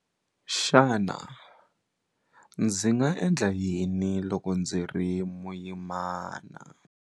Xana ndzi nga endla yini loko ndzi ri muyimana?